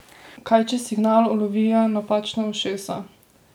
Kaj če signal ulovijo napačna ušesa?